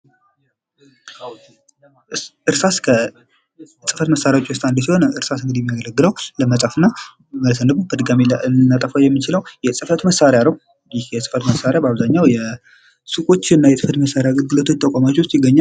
እርሳስ ከጽፈት መሳሪያዎች ውስጥ አንዱ ሲሆን የሚያገለግለው ለመጻፍና በድጋሚ ልናጠፋው የምንችለው የጽፈት መሣሪያ ነው ይህ ጽፈት መሳሪያ በአብዛኛው ሱቆችና የህፈት መሳሪያ ሰጪ ተቋማት ውስጥ ይገኛል።